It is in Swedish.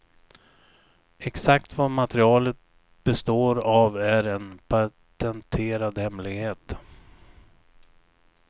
Exakt vad materialet består av är en patenterad hemlighet.